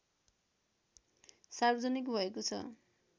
सार्वजनिक भएको छ